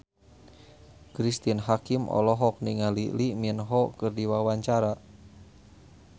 Cristine Hakim olohok ningali Lee Min Ho keur diwawancara